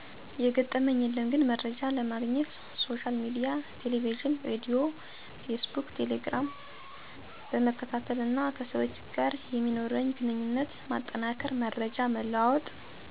የገጠመኝ የለም ግን መርጃ ለማግኘት ሶሻል ሚዲያን ቴለቪዥን ሬድዮ ፌስቡክ ቴሌግራም ..... በመከታተል እና ከሰዎች ጋር የሚኖርኝን ግንኙነት ማጠናከር መረጃ በመለዋወጥ።